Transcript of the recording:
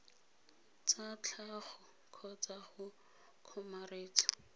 tsa tlhago kgotsa go kgomaretsa